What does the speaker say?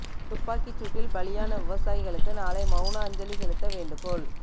துப்பாக்கிச் சூட்டில் பலியான விவசாயிகளுக்கு நாளை மெளன அஞ்சலி செலுத்த வேண்டுகோள்